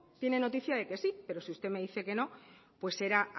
tiene noticia de que sí pero si usted me dice que no pues será